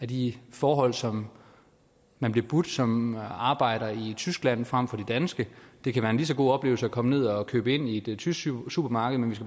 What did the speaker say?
de forhold som man bliver budt som arbejder i tyskland frem for de danske det kan være en lige så god oplevelse at komme ned og købe ind i et tysk supermarked men vi